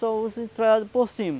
Só uso entralhadas por cima.